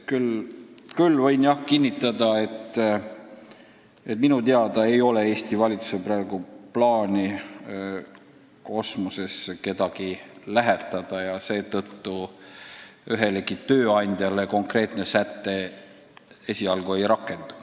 Küll võin kinnitada, et minu teada ei ole Eesti valitsusel praegu plaani kedagi lähiajal kosmosesse saata ja seetõttu ühelegi tööandjale konkreetne säte esialgu ei rakendu.